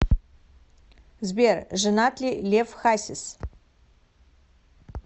сбер женат ли лев хасис